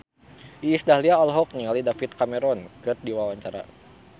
Iis Dahlia olohok ningali David Cameron keur diwawancara